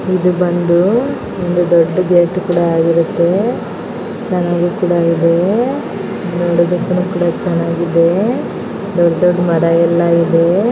ಈದ್ ಬಂದು ಒಂದು ದೊಡ್ಡ ಗೇಟ್ ಕೂಡ ಇರುತ್ತೆ. ಸನ್ನಗೂ ಕೂಡಾ ಇದೆ. ನೋಡೋದಕ್ಕುನು ಕೂಡ ಚನ್ನಾಗಿದೆ. ದೊಡ್ಡ ದೊಡ್ಡ ಮರಾ ಯಲ್ಲಾ ಇದೆ .